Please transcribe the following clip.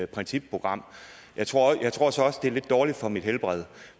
principprogram jeg tror jeg tror så også det er lidt dårligt for mit helbred